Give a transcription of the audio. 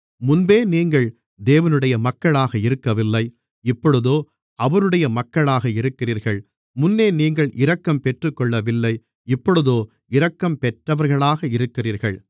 முன்பே நீங்கள் தேவனுடைய மக்களாக இருக்கவில்லை இப்பொழுதோ அவருடைய மக்களாக இருக்கிறீர்கள் முன்னே நீங்கள் இரக்கம் பெற்றுக்கொள்ளவில்லை இப்பொழுதோ இரக்கம் பெற்றவர்களாக இருக்கிறீர்கள்